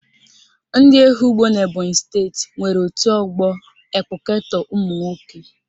Ndị Ehugbo n'Ebonyi steeti nwere otu ọgbọ ekpụketọ ụmụnwoke